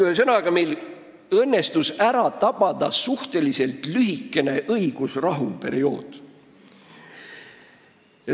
Ühesõnaga, meil õnnestus ära tabada suhteliselt lühike õigusrahu periood.